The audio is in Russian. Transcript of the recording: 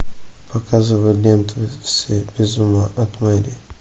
показывай ленту все без ума от мэри